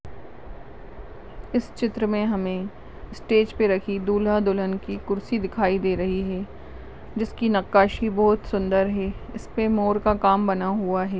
इस चित्र में हमे स्टेज पर रखी दूल्हा दुल्हन की खुर्सि दिखाए दे रही है जिसकी नकाशी बहोत सुंदर है। उस पे मोर का काम बना हुआ है।